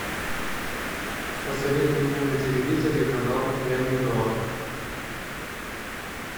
посоветуй мне на телевизоре канал ля минор